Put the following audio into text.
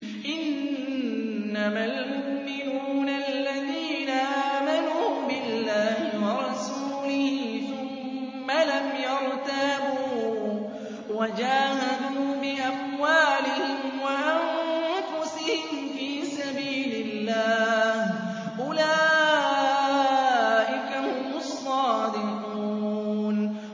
إِنَّمَا الْمُؤْمِنُونَ الَّذِينَ آمَنُوا بِاللَّهِ وَرَسُولِهِ ثُمَّ لَمْ يَرْتَابُوا وَجَاهَدُوا بِأَمْوَالِهِمْ وَأَنفُسِهِمْ فِي سَبِيلِ اللَّهِ ۚ أُولَٰئِكَ هُمُ الصَّادِقُونَ